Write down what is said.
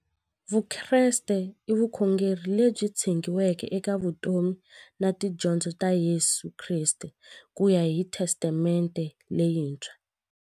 Vukreste i vukhongeri lebyi tshegiweke eka vutomi na tidyondzo ta Yesu Kreste kuya hi Testamente leyintshwa.